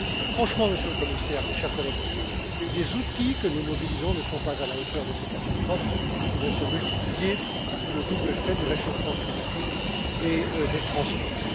Franchement, Monsieur le Commissaire, mes chers collègues, les outils que nous mobilisons ne sont pas à la hauteur de ces catastrophes qui vont se multiplier sous le double effet du réchauffement climatique et des transports.